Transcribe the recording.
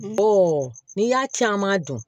n'i y'a caman dun